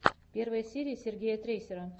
первая серия сергея трейсера